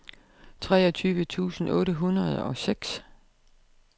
treogtyve tusind otte hundrede og seks